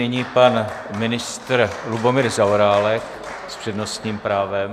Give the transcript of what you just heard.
Nyní pan ministr Lubomír Zaorálek s přednostním právem.